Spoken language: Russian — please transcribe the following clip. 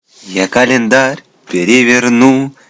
я календарь переверну